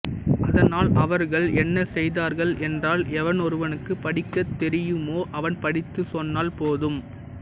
அதனால் அவர்கள் என்ன செய்தார்கள் என்றால் எவனொருவனுக்கு படிக்கத் தெரியுமோ அவன் படித்து சொன்னால் போதும்